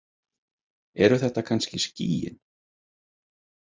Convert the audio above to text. Eru þetta kannski skýin?